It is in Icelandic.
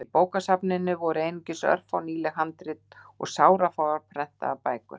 Í bókasafninu voru einungis örfá nýleg handrit og sárafáar prentaðar bækur.